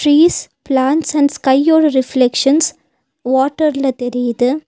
Trees plants and ஸ்கையோட reflections வாட்டர்ல தெரியிது.